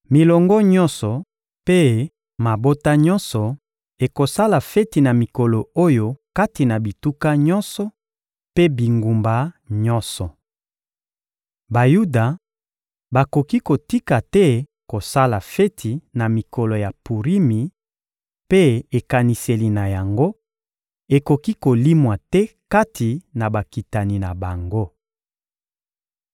Milongo nyonso mpe mabota nyonso ekosala feti na mikolo oyo kati na bituka nyonso mpe bingumba nyonso. Bayuda bakoki kotika te kosala feti na mikolo ya Purimi, mpe ekaniseli na yango ekoki kolimwa te kati na bakitani na bango.